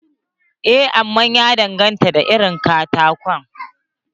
Eh, amma ya danganta da irin katakon.